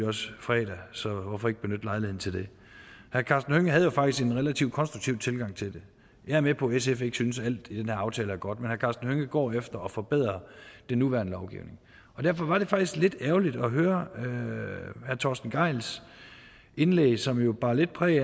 også fredag så hvorfor ikke benytte lejligheden til det herre karsten hønge havde jo faktisk en relativt konstruktiv tilgang til det jeg er med på at sf ikke synes at alt i den her aftale er godt men herre karsten hønge går efter at forbedre den nuværende lovgivning og derfor var det faktisk lidt ærgerligt at høre herre torsten gejls indlæg som jo bar lidt præg